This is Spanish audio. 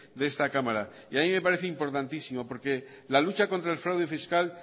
de esta cámara y a mí me parece importantísimo porque la lucha contra el fraude fiscal